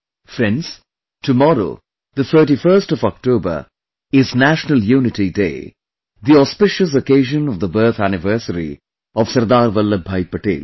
Friends, Tomorrow, the 31st of October, is National Unity Day, the auspicious occasion of the birth anniversary of Sardar Vallabhbhai Patel